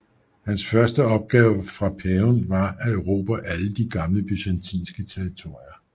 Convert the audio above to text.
Hans første opgave fra paven var at erobre alle de gamle byzantinske territorier